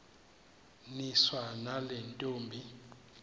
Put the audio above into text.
niswa nale ntombi